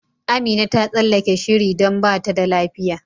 Amina ta tsallake shiri don bata da lafiya.